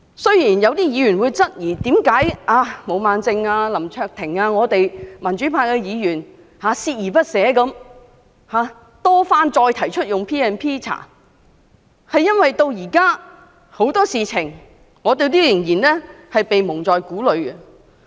雖然有議員質疑為何毛孟靜議員、林卓廷議員和民主派議員鍥而不捨地多番提出引用 P&P 進行調查，但這是因為有很多事情我們至今仍然蒙在鼓裏。